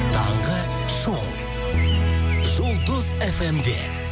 таңғы шоу жұлдыз фм де